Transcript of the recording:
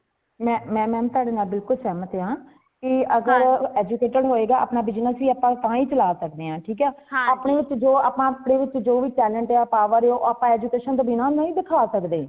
ਮੈਂ ਮੈਂ ma'am ਤੁਹਾਡੇ ਨਾਲ ਬਿਲਕੁਲ ਸਹਿਮਤ ਹਾਂ ਕੇ ਅਗਰ educated ਹੋਏਗਾ ਆਪਣਾ business ਆਪਾ ਤਾ ਹੀ ਚਲਾ ਸਕਦੇ ਹਾਂ ਠੀਕ ਹੈ ਆਪਣੇ ਵਿਚ ਜੋ ਆਪਾ ਅਪਣੇ ਵਿੱਚ ਜੋ ਵੀ talent ਹੈ power ਉਹ ਅਸੀਂ education ਦੇ ਬਿਨਾ ਨਹੀਂ ਦਿੱਖਾ ਸਕਦੇ